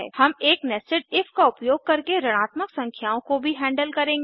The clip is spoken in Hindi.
हम एक nested इफ का उपयोग करके ऋणात्मक संख्याओं को भी हैंडल करेंगे